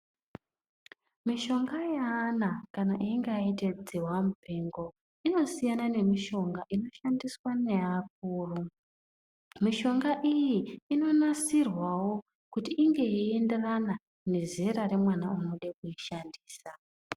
Mishonga yevana kana vechinge aitabdzihwa mupengo inosiyana Nemishonga inosiyana nevakuru mishonga iyi inonasirwa kuti inge yeienderana nezera remeana anoda kuishandisa.